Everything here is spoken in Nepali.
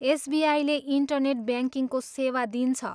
एसबिआईले इन्टरनेट ब्याङ्किङको सेवा दिन्छ।